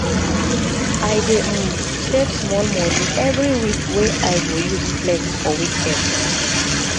i dey um save small moni every week wey i go use flex for weekend